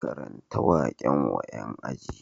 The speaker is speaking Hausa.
Karanta waƙen wa ƴan aji